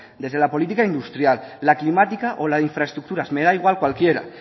desde la política industrial la climática o las infraestructuras me da igual cualquiera